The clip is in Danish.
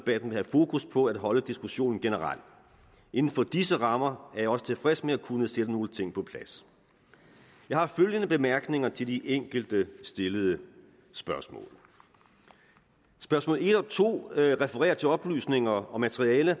vil have fokus på at holde diskussionen generel inden for disse rammer er jeg også tilfreds med at kunne sætte nogle ting på plads jeg har følgende bemærkninger til de enkelte stillede spørgsmål spørgsmål en og to refererer til oplysninger om materiale